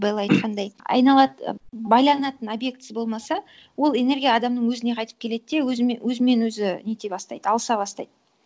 белла айтқандай байланатын объектісі болмаса ол энергия адамның өзіне қайтып келеді де өзімен өзі нете бастайды алыса бастайды